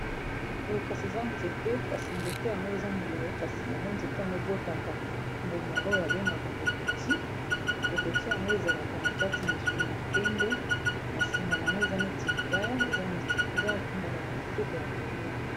moye kasi eza nzete kasi nzete yango eza molai kasi yango nzete yango ebotaka mbuma oyo babengaka kokoti kokoti yango ezalaka na kati misuni ya pembe na sima yango eza neti libaya eza mbuma ya kitoko ya kolia